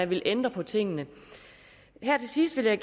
ville ændre på tingene her til sidst vil jeg